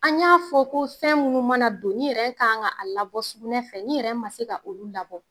An y'a fɔ ko fɛn minnu mana don n'i yɛrɛ k'an ka a labɔ sugunɛ fɛ n'i yɛrɛ ma se ka olu labɔ.